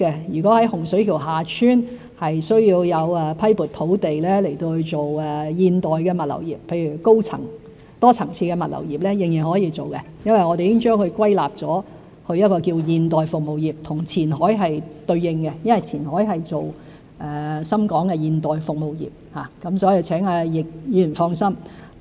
如果在洪水橋/厦村需要批撥土地發展現代物流業，例如多層次的物流業，仍然是可以的，因我們已將它歸類為現代服務業，和前海是對應的，因為前海是推行深港的現代服務業，所以請易議員放心。